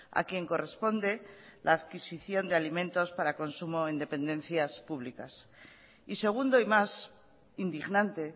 a quien corresponde la adquisición de alimentos para consumo en dependencias públicas y segundo y más indignante